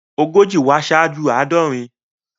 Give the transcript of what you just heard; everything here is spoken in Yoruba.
Ogójì wá ṣáájú àádọrin.